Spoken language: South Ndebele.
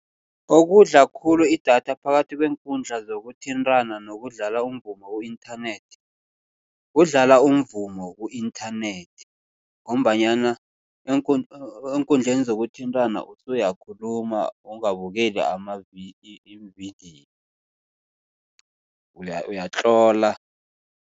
Okudla khulu idatha phakathi kweenkundla zokuthintana nokudlala umvumo ku-inthanethi. Kudlala umvumo ku-inthanethi ngombanyana eenkundleni zokuthintana usuyakhuluma ungabukeli amavidiyo uyatlola.